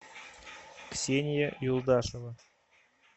ксения юлдашева